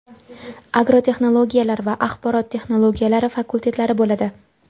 agrotexnologiyalar va axborot texnologiyalari fakultetlari bo‘ladi.